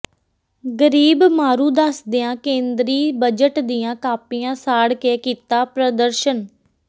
ਗਰੀਬ ਮਾਰੂ ਦੱਸਦਿਆਂ ਕੇਂਦਰੀ ਬੱਜਟ ਦੀਆਂ ਕਾਪੀਆਂ ਸਾੜ ਕੇ ਕੀਤਾ ਪ੍ਰਦਰਸ਼ਨ